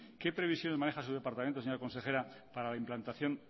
qué previsión maneja su departamento señora consejera para la implantación